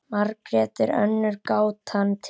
Margrét er önnur gátan til.